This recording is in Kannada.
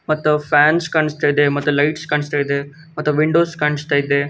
ಮತ್ತು ಫ್ಯಾನ್ಸ್ ಕಾಣಸ್ತಾ ಇದೆ ಮತ್ತು ಲೈಟ್ಸ್ ಕಾಣಸ್ತಾ ಇದೆ ಮತ್ತು ವಿಂಡೋಸ್ ಕಾಣಸ್ತಾ ಇದೆ .